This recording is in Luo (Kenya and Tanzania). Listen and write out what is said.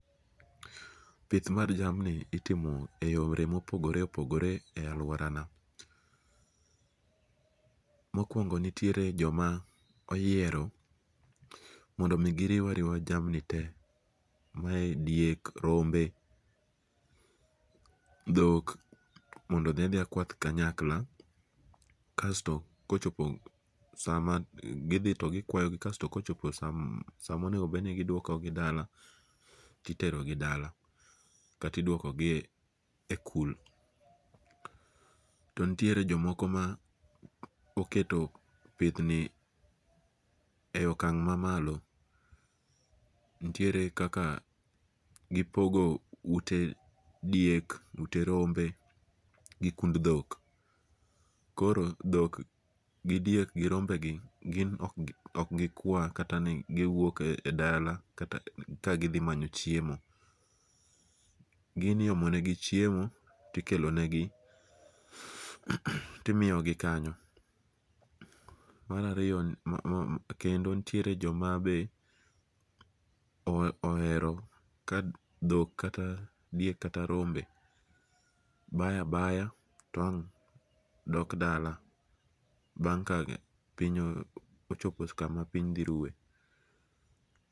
Pith mar jamni itimo e yore mopogore opogore e aluorana, mokuongo nitiere jama oyiero mondo mi giriu ariwa jamni te, mae diek, rombe, dhok modo othia thia kwath kanyakla kasto kochopo sama githi to gikwayogi kasto kochopo sama onego bed ni giduokogi dala titerogi dala, kata idwokogie e kul, to nitiere jomoko ma oketo pithni e okang' mamalo' nitiere kaka gipogo uet diek, ute rombe gi kund thok koro dhok gi diek gi rombegi koro okgo kwa taka wuok e dala kagithi manyo chiemo, gin iomonegi chiemo tikelonegi timiyogi kanyo, marariyo kendo nitiere joma be ohero ka thok kata diek kata rombe baya baya to ang' dok dala bang ochopo kama piny thirue.